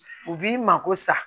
U b'i mako sa